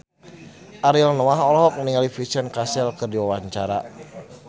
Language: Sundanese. Ariel Noah olohok ningali Vincent Cassel keur diwawancara